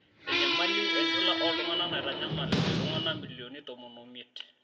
Enyamali enchula oltungana naitanyamal iltungana milionini tomon omiet.